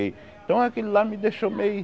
então aquele lá me deixou meio...